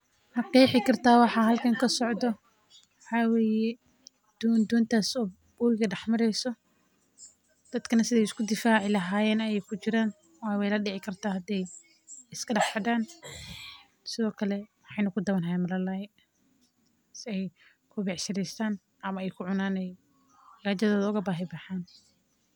Ma qeexi kartaa waxa halkan kasocdo waxaa waye doon oo wabiga dex mareyso dadka sida aay isku difaaci lahayeen ayeey kujiraan.